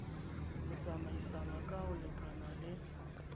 ho tsamaisana ka ho lekanale